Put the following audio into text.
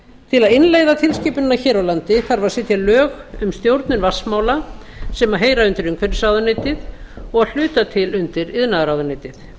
til að innleiða tilskipunina hér á landi þarf að setja lög um stjórnun vatnsmála sem heyra undir umhverfisráðuneytið og að hluta til undir iðnaðarráðuneytið